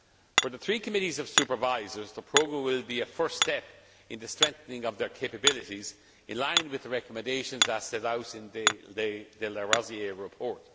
For the three committees of supervisors, the programme will be a first step in the strengthening of their capabilities in line with the recommendations set out in the de Larosière report.